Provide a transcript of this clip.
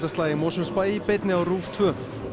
í Mosfellsbæ í beinni á RÚV tvær